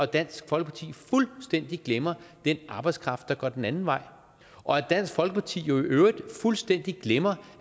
dansk folkeparti fuldstændig glemmer den arbejdskraft der går den anden vej og dansk folkeparti i øvrigt fuldstændig glemmer